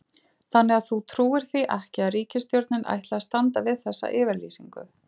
Þannig að þú trúir því ekki að ríkisstjórnin ætli að standa við þessa yfirlýsingu?